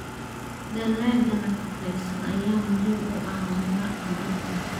Dalagga nafaqeysan ayaa muhiim u ah horumarka dalka.